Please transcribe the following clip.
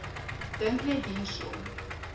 dink net hierso